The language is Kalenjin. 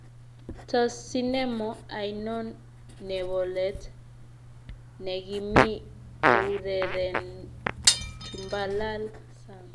Tos' sinemo ainon nebolet negimii kourerenen tumbalal sang